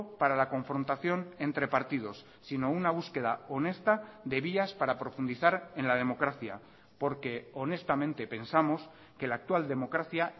para la confrontación entre partidos sino una búsqueda honesta de vías para profundizar en la democracia porque honestamente pensamos que la actual democracia